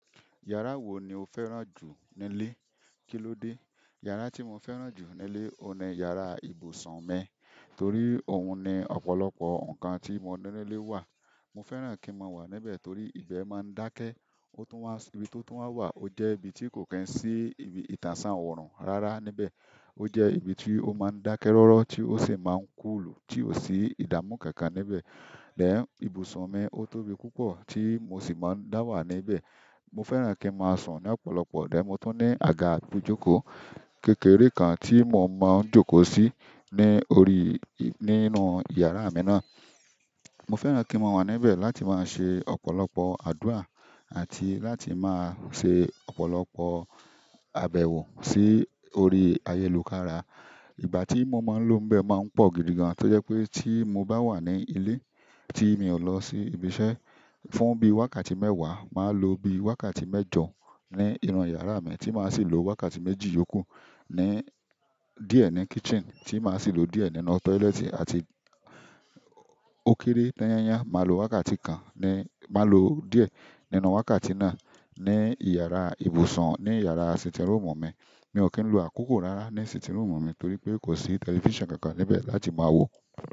Yàrá wo ni o fẹ́ràn jù nílé? Kí ló dé? Yàrá tí mo fẹ́ràn jù nílé, òun ni yàrá ibùsùn mi torí òun ni ọ̀pọ̀lọpọ̀ nǹkan tí mo nílè wà. Mo fẹ́ràn kí mo wà níbẹ̀ torí ìbẹ́ máa ń dákẹ́. O tún wà, ibi tó tún wà, ó jẹ́ ibi tí kò ki n sí ibi ìtànṣán oòrùn rárá níbẹ̀. Ó jẹ́ ibi tí ó máa ń dákẹ́ rọ́rọ́ tí ó sì máa ń kúlù tí ò sí ìdáàmú kankan níbẹ̀. Ẹ̀, ibùsùn mi, o tóbi púpọ̀ tí mo sì máa ń dá wà níbẹ̀. Mo fẹ́ràn kí n máa sùn ní ọ̀pọ̀lọpọ̀. Ẹ̀, mo tún ní àga ibùjókòó kékeré kan tí mo máa ń jókòó sí ní orí, nínú yàrá mi náà. Mo fẹ́ràn kí mo wà níbẹ̀ láti máa ṣe ọ̀pọ̀lọpọ̀ àdúrà àti láti máa ṣe ọ̀pọ̀lọpọ̀ àbẹ̀wò sí orí ayélujára. Ìgbà tí mo máa ń lọ níbẹ̀ máa ń pọ̀ gidi gan, tó jẹ́ pé tí mo bá wà ní ilé tí mi ò lọ sí ibi iṣẹ́, fún bí i wákàtí mẹ́wàá, màá lo bí i wákàtí mẹ́jọ ní inú yàrá mi tí màá sì lo wákàtí méjì yòó kù ní, díẹ̀ ní kitchen tí màá sì lo díẹ̀ nínú toilet àti ókéré tányányán, màá lo wákàtí kan ní, màá lo díẹ̀ nínú wákàtí náà ní yàrá ibùsùn, ní yàrá sitting room mi. Mi ò kí ń lo àkókò rara ní sitting room mi torí pé kò sí television kankan níbẹ̀ láti máa wò.